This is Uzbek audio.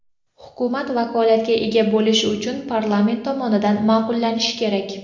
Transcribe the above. Hukumat vakolatga ega bo‘lishi uchun parlament tomonidan ma’qullanishi kerak.